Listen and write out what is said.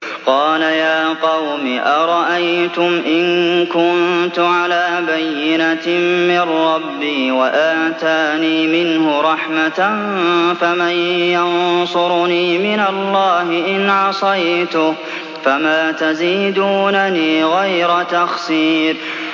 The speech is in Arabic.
قَالَ يَا قَوْمِ أَرَأَيْتُمْ إِن كُنتُ عَلَىٰ بَيِّنَةٍ مِّن رَّبِّي وَآتَانِي مِنْهُ رَحْمَةً فَمَن يَنصُرُنِي مِنَ اللَّهِ إِنْ عَصَيْتُهُ ۖ فَمَا تَزِيدُونَنِي غَيْرَ تَخْسِيرٍ